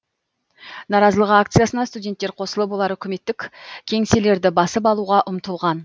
наразылық акциясына студенттер қосылып олар үкіметтік кеңселерді басып алуға ұмтылған